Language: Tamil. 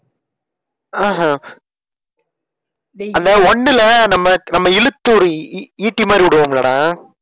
ஆஹ் ஹம் அந்த ஒண்ணுல நம்ம நம்ம இழுத்து ஒரு ஈ~ ஈட்டி மாறி விடுவோம்லடா